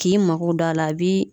K'i mago don a la a bi